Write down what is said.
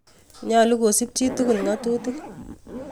Nyalu kosup chi tukul ng'atutik